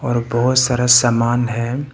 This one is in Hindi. और बहुत सारा सामान है।